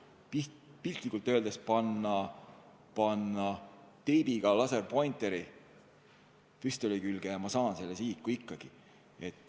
Piltlikult öeldes võin ma laserpointeri teibiga püstoli külge panna ja ikkagi sihiku saada.